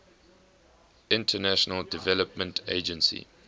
international development agency